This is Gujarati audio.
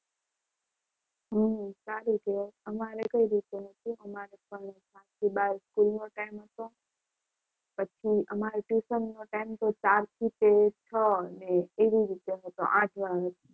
હમ સારું કહેવાય અમારે કઈ રીતે હતું આઠ થી બાર સ્કૂલ નો ટાઈમ હતો. પછી અમારે ટ્યુશનનો ટાઈમ તો ચારથી તે છ એટલે એવી રીતે હતો.